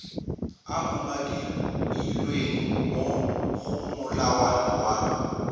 umakilweng mo go molawana wa